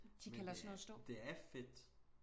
De kan lade sådan noget stå